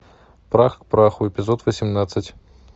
прах к праху эпизод восемнадцать